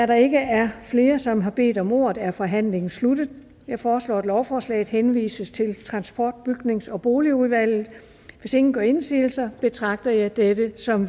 der ikke er flere som har bedt om ordet er forhandlingen sluttet jeg foreslår at lovforslaget henvises til transport bygnings og boligudvalget hvis ingen gør indsigelse betragter jeg det som